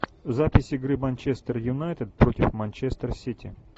запись игры манчестер юнайтед против манчестер сити